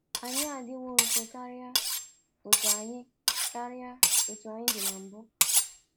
“Anyị adiwo nso karịa otú anyị karịa otú anyị dị na mbụ.